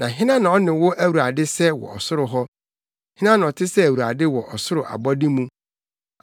Na hena na ɔne wo Awurade sɛ wɔ ɔsoro hɔ? Hena na ɔte sɛ Awurade wɔ ɔsoro abɔde mu?